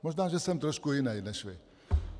Možná, že jsem trošku jiný než vy.